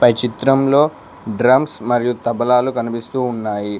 ఈ చిత్రంలో డ్రమ్స్ మరియు తబలాలు కనిపిస్తూ ఉన్నాయి.